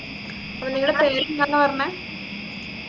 അപ്പൊ നിങ്ങളെ പേരെന്താന്ന പറഞ്ഞെ